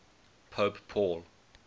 pope paul